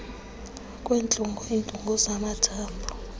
kwentlungu iintungu zamathambo